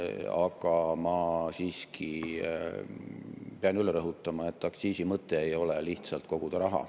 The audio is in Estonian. Aga ma siiski pean üle rõhutama, et aktsiisi mõte ei ole lihtsalt raha koguda.